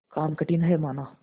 काम कठिन हैमाना